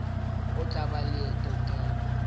o tla ba le tokelo